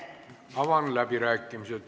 Avan läbirääkimised.